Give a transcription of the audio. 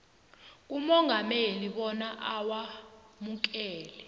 kumongameli bona awamukele